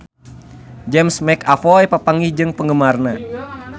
James McAvoy papanggih jeung penggemarna